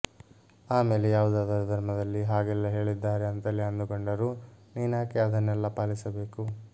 ಆಮೇಲೆ ಯಾವುದಾದರೂ ಧರ್ಮದಲ್ಲಿ ಹಾಗೆಲ್ಲ ಹೇಳಿದ್ದಾರೆ ಅಂತಲೇ ಅಂದುಕೊಂಡರೂ ನೀನ್ಯಾಕೆ ಅದನ್ನೆಲ್ಲ ಪಾಲಿಸಬೇಕು